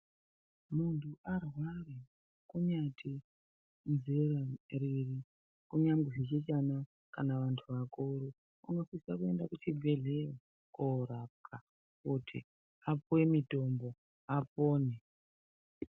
Muntu arwara anosise kuenda kuchibhehlera zvisina nezera ,chi have chana kumbe anti akuru anofanira kusise kuenda kuchibhedleya kunorapwa apihwe mutombo apone.